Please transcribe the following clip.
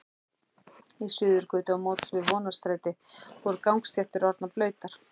Í Suðurgötu á móts við Vonarstræti voru gangstéttir orðnar blautar.